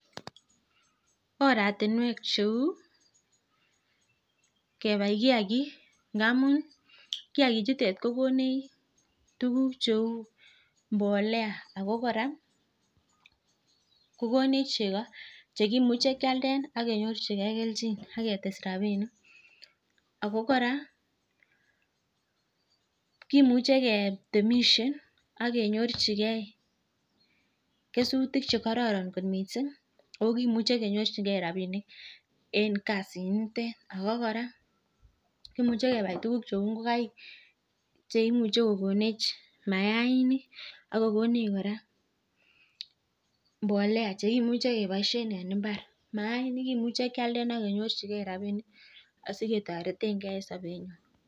Oratinwek cheu kebai kiagik. Ngamun kiagichutet kokonech tukuk cheu mbolea ak kora kokonech cheko, chekimuche kialde ak kenyorchigei keljin ak ketes rapinik. Ako kora kimuche ketemishe ak kenyorchigei kesutik chekororon kot mising ako kimuche kenyorchigei rapinik eng kasit nitet. Ako kora kimuche kebai tukuk cheu ngokaik cheimuchei kokonech maaink ako konech kora mbolea chekimuche keboishen en mbar. Maainik kemuche kealde ak kenyorchigei rapinik asiketoretegei eng sobenyo.